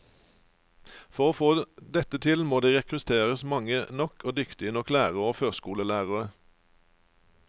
For å få dette til må det rekrutteres mange nok og dyktige nok lærere og førskolelærere.